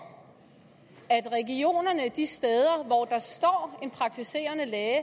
at regionerne de steder hvor der står en praktiserende læge